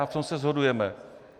A v tom se shodujeme.